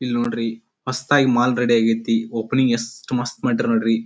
ಇಲ್ ನೋಡ್ರಿ ಮಸ್ತ್ ಆಗಿ ಮಾಲ್ ರೆಡಿ ಆಗ್ಯಾತಿ. ಒಪೆನಿಂಗ್ ಯೇಷ್ಟ ಮಸ್ತ ಮಾಡ್ಯಾರ್ ನೋಡ್ರಿ.